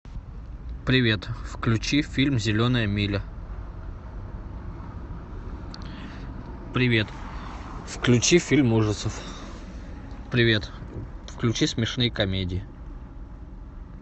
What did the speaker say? привет включи фильм зеленая миля привет включи фильм ужасов привет включи смешные комедии